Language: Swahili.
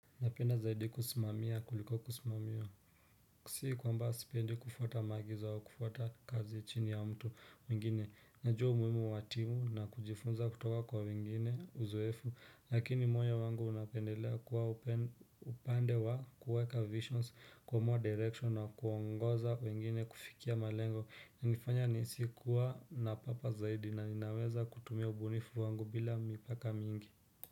Napenda zaidi kusimamia kuliko kusimamiwa si kwamba sipendi kufuata maagizo au kufuata kazi chini ya mtu mwingine najua umuhimu wa timu na kujifunza kutoka kwa wengine uzoefu lakini moyo wangu unapendelea kuwa upande wa kuweka visions kuamua direction na kuongoza wengine kufikia malengo hunifanya nihisi kuwa napapa zaidi na ninaweza kutumia ubunifu wangu bila mipaka mingi.